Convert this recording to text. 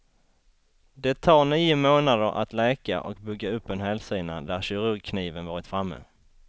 Det tar nio månader att läka och bygga upp en hälsena där kirurgkniven varit framme.